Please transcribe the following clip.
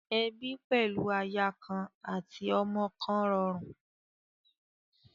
Ebi pẹlu aya kan ati ọkọ kọn rọrùn.